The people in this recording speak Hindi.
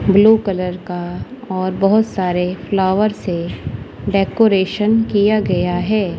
ब्लू कलर का और बहोत सारे फ्लावर से डेकोरेशन किया गया है।